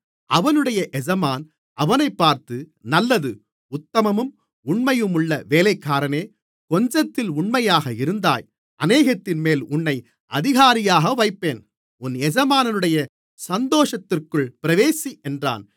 அவனுடைய எஜமான் அவனைப் பார்த்து நல்லது உத்தமமும் உண்மையுமுள்ள வேலைக்காரனே கொஞ்சத்திலே உண்மையாக இருந்தாய் அநேகத்தின்மேல் உன்னை அதிகாரியாக வைப்பேன் உன் எஜமானுடைய சந்தோஷத்திற்குள் பிரவேசி என்றான்